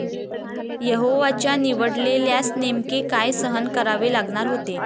यहोवाच्या निवडलेल्यास नेमके काय सहन करावे लागणार होते?